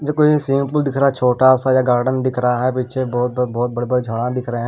देखो ये सीन में पूल दिख रहा है छोटा सा या गार्डन दिख रहा है पीछे बहुत बहुत बड़े बड़े झाड़ा दिख रहे हैं।